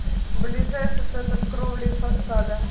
ближайший центр кровли и фасада